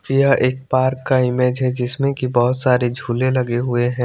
यह एक पार्क का इमेज है जिसमे की बोहोत सारे झुले लगे हुए है।